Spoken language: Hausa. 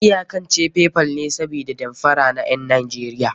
An iyakance Paypal ne sabida damfara na ƴan Najeriya.